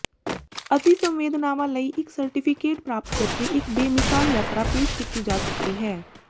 ਅਤਿ ਸੰਵੇਦਨਾਵਾਂ ਲਈ ਇਕ ਸਰਟੀਫਿਕੇਟ ਪ੍ਰਾਪਤ ਕਰਕੇ ਇੱਕ ਬੇਮਿਸਾਲ ਯਾਤਰਾ ਪੇਸ਼ ਕੀਤੀ ਜਾ ਸਕਦੀ ਹੈ